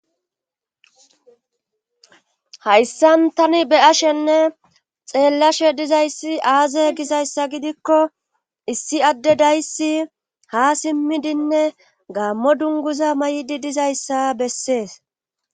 Hayssan tani be ashenne xeellashe dizayssi aaze gizayssa gidikko issi adde dayssi ha simmidinne gaammo dunguza may7idi dizayssa bessees